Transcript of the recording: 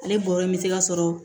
Ale bɔɔrɔ me se ka sɔrɔ